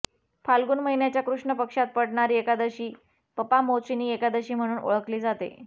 फाल्गुन महिन्याच्या कृष्णपक्षात पडणारी एकादशी पपामोचीनी एकादशी म्हणून ओळखली जाते